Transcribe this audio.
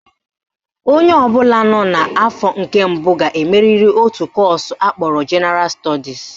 Onye ọbụla nọ n'afọ nke mbụ ga-emeriri otu kọọsụ akpọrọ Jenaral Stọdis